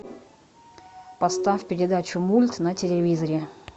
поставь передачу мульт на телевизоре